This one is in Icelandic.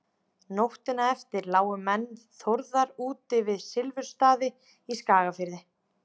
nóttina eftir lágu menn þórðar úti við silfrastaði í skagafirði